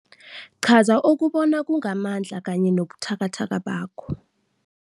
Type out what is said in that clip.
Chaza okubona kungamandla kanye nobuthakathaka bakho